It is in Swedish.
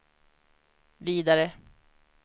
vidare